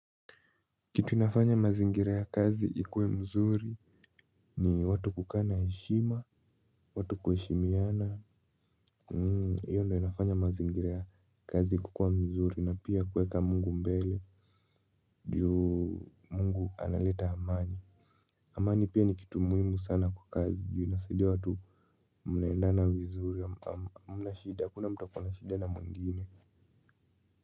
Kitu inafanya mazingira ya kazi ikuwe mzuri ni watu kukaa na heshima, watu kuheshimiana, iyo ndiyo inafanya mazingira ya kazi kukuwa mzuri na pia kweka mungu mbele juu mungu analeta amani. Amani pia ni kitu muhimu sana kwa kazi juu inasaidia watu munaendana vizuri hamna shida hakuna mtu akona shida na mwingine.